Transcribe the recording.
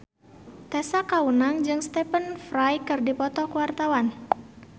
Tessa Kaunang jeung Stephen Fry keur dipoto ku wartawan